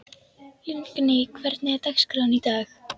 Lingný, hvernig er dagskráin í dag?